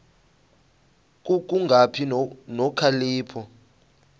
ku kungabi nokhalipho